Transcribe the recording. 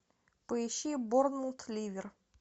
поищи борнмут ливер